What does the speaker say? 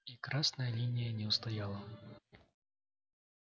и красная линия не устояла